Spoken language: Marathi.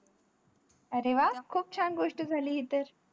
अरे व खूप छान गोष्ट झाली हे तर